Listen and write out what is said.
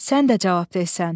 Sən də cavab ver sən,